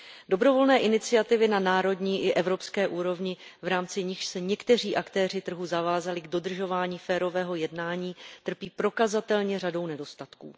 Dobrovolné iniciativy na národní i evropské úrovni, v rámci nichž se někteří aktéři trhu zavázali k dodržování férového jednání, trpí prokazatelně řadou nedostatků.